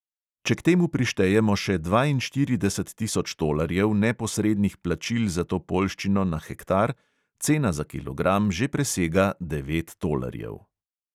Če k temu prištejemo še dvainštirideset tisoč tolarjev neposrednih plačil za to poljščino na hektar, cena za kilogram že presega devet tolarjev.